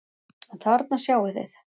En þarna sjáið þið!